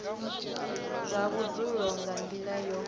zwa vhudzulo nga nila yo